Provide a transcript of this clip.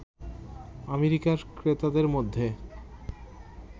আমেরিকার ক্রেতাদের মধ্যে